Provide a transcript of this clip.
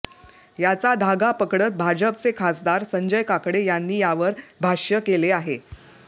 याचा धागा पकडत भाजपचे खासदार संजय काकडे यांनी यावर भाष्य केले आहे